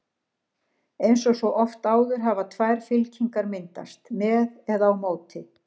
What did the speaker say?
Eins og svo oft áður hafa tvær fylkingar myndast: með eða á móti.